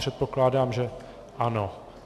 Předpokládám, že ano.